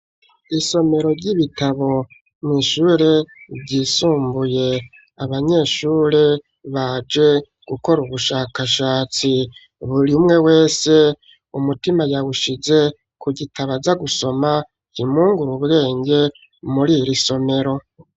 Isomero ry'ibitabo mw'ishure ryisumbuye, abanyeshure baje gukora ubushakashatsi, buri umwe wese umutima yawushize ku gitabo aza gusoma kimwungura ubwenge muri iri somero.